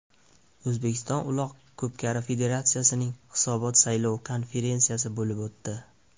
O‘zbekiston Uloq ko‘pkari federatsiyasining hisobot-saylov konferensiyasi bo‘lib o‘tdi.